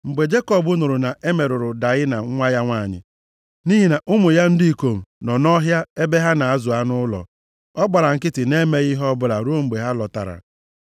Mgbe Jekọb nụrụ na e merụrụ Daịna nwa ya nwanyị, nʼihi na ụmụ ya ndị ikom nọ nʼọhịa ebe ha na-azụ anụ ụlọ, ọ gbara nkịtị na-emeghị ihe ọbụla ruo mgbe ha lọtara.